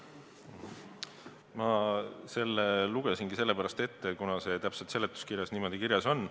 Ma selle lugesingi sellepärast ette, et see täpselt seletuskirjas niimoodi kirjas on.